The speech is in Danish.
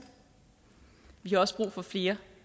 vi har også brug for flere